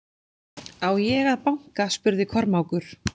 Á ég að banka spurði Kormákur.